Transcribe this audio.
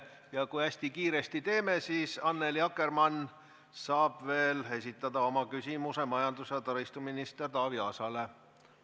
Ja kui hästi kiiresti teeme, siis Annely Akkerman saab veel esitada oma küsimuse majandus- ja taristuminister Taavi Aasale.